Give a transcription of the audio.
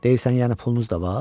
Deyirsən yəni pulunuz da var?